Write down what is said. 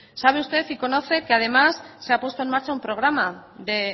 sabe usted y conoce que además se ha puesto en marcha un programa de